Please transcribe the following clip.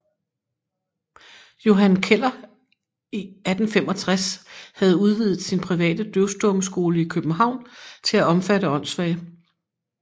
Johan Keller i 1865 havde udvidet sin private døvstummeskole i København til at omfatte åndssvage